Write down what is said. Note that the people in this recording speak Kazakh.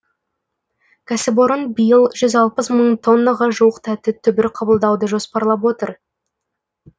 кәсіпорын биыл жүз алпыс мың тоннаға жуық тәтті түбір қабылдауды жоспарлап отыр